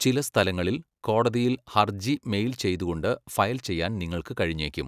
ചില സ്ഥലങ്ങളിൽ, കോടതിയിൽ ഹർജി മെയിൽ ചെയ്തുകൊണ്ട് ഫയൽ ചെയ്യാൻ നിങ്ങൾക്ക് കഴിഞ്ഞേക്കും.